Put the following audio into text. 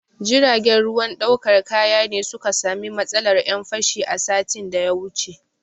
Jiragen ruwan ɗaukar kaya ne su ka sami matsalar 'yan fashi a satin da ya wuce.